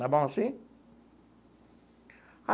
Está bom assim?